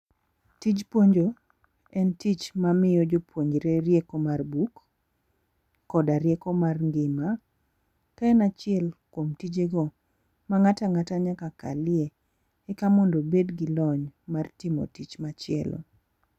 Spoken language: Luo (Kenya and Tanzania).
Tij puonjo, en tich mamiyo jopuonjore rieko mar buk, koda rieko mar ngima. Ka en achiel kuom tijego ma ng'ato ang'ata nyaka kalie, eka mondo obed gi lony mar timo tich machielo.